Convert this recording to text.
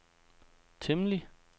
temmelig